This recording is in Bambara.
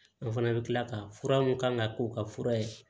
An fana bɛ tila ka fura mun kan ka k'u ka fura ye